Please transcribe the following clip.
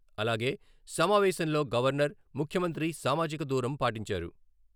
అలాగే సమావేశంలో గవర్నర్, ముఖ్యమంత్రి సామాజిక దూరం పాటించారు.